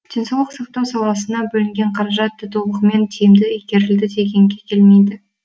денсаулық сақтау саласына бөлінген қаражат та толығымен тиімді игерілді дегенге келмейді